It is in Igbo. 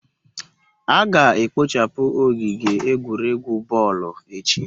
A ga-ekpochapu ogige egwuregwu boolu echi